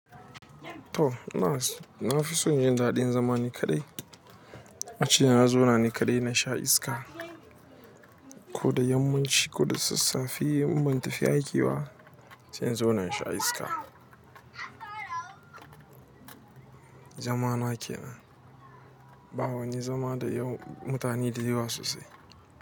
To inas, na fi son yin daɗin zama ni kaɗai. Ace na zona ni kaɗai na sha iska. Ko da yammaci ko da sassafe, un ban tafi aiki ba, sai in zona in sha iska. Dama ma kenan, ba wani zama da yau mutane de yawa sosai.